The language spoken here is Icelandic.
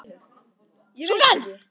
Súsan, hvar er dótið mitt?